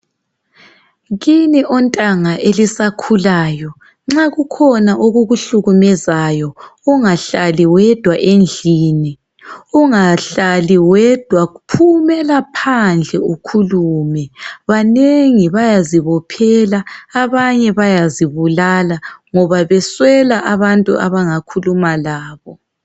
Kini ontanga elisakhulayo ,nxa kukhona okukuhlukumezayo ungahlali wedwa endlini ,ungahlali wedwa phumela phandle ukhulume. Banengi bayazibophela ,abanye bayazibulala ngoba beswela abantu abangakhuluma labo.